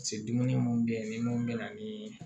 dumuni munnu be yen ni mun bɛ na ni